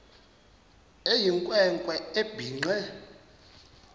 eyinkwe nkwe ebhinqe